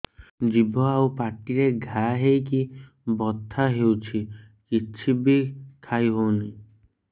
ଜିଭ ଆଉ ପାଟିରେ ଘା ହେଇକି ବଥା ହେଉଛି କିଛି ବି ଖାଇହଉନି